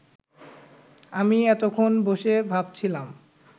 আমি এতক্ষণ বসে ভাবছিলাম